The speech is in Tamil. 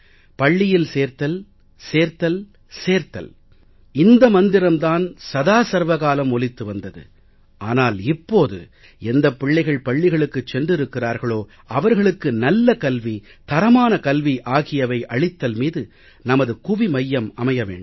பள்ளியில் சேர்த்தல் சேர்த்தல் சேர்த்தல் இந்த மந்திரம் தான் சதா சர்வ காலம் ஒலித்து வந்தது ஆனால் இப்போது எந்தப் பிள்ளைகள் பள்ளிகளுக்கு சென்றிருக்கிறார்களோ அவர்களுக்கு நல்ல கல்வி தரமான கல்வி ஆகியவை அளித்தல் மீது நமது குவிமையம் அமைய வேண்டும்